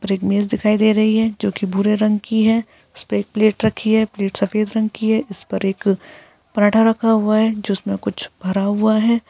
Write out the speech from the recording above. पर क मेज़ दिखाई दे रही है जो कि भूरे रंग की हैं। इसपे प्लेट रखी हैं। प्लेट सफेद रंग की हैं। इस पर एक पराठा रखा हुआ है जिसमे मे कुछ भरा हुआ हैं।